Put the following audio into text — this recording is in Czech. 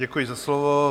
Děkuji za slovo.